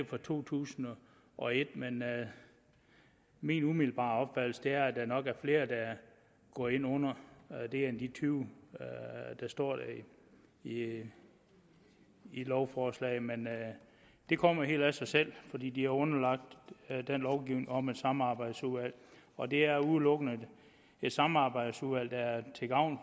fra to tusind og et min umiddelbare opfattelse er at der nok er flere der går ind under det her end de tyve der står i i lovforslaget men det kommer helt af sig selv fordi de er underlagt den lovgivning om et samarbejdsudvalg og det er udelukkende et samarbejdsudvalg der er til gavn